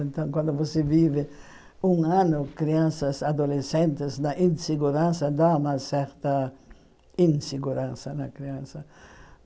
Então quando você vive um ano, crianças, adolescentes, na insegurança, dá uma certa insegurança na criança.